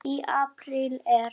Í apríl er